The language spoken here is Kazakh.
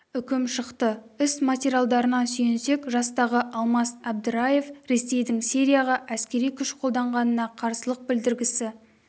үкім шықты іс материалдарына сүйенсек жастағы алмас әбдіраев ресейдің сирияға әскери күш қолданғанына қарсылық білдіргісі